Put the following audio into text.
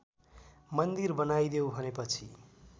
मन्दिर बनाइदेऊ भनेपछि